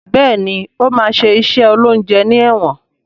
Béèni o ma ṣe iṣé oloúnjẹ ní èwòn.